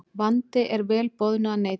Vandi er vel boðnu að neita.